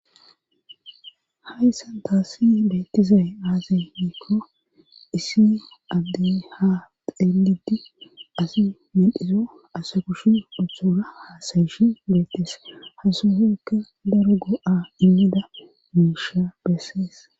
hayssan taassi beettizay aazay hiikko issi addey ha xeelidi asi mendhiso asa kushi uthora haasayishi beettes hasufoykka daro go7a immida muisha bessees